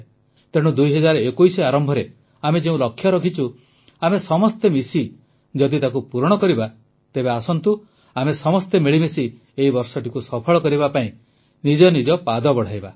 ତେଣୁ 2021 ଆରମ୍ଭରେ ଆମେ ଯେଉଁ ଲକ୍ଷ୍ୟ ରଖିଛୁ ଆମେ ସମସ୍ତେ ମିଶି ଯଦି ତାକୁ ପୂରଣ କରିବା ତେବେ ଆସନ୍ତୁ ଆମେ ସମସ୍ତେ ମିଳିମିଶି ଏହି ବର୍ଷଟିକୁ ସଫଳ କରିବା ପାଇଁ ନିଜ ନିଜ ପାଦ ବଢ଼ାଇବା